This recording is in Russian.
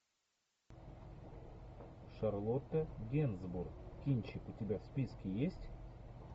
шарлотта генсбур кинчик у тебя в списке есть